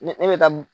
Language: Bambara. Ne bɛ da m